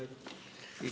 Igaks juhuks.